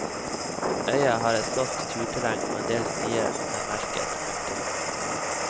Øya har et flott turterreng og endel stier er merket. punktum